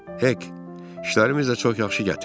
"Hek, işlərimiz də çox yaxşı gətirdi.